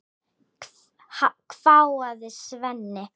hváði Svenni.